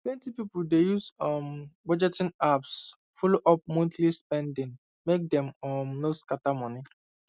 plenty people dey use um budgeting apps follow up monthly spending make dem um no scatter money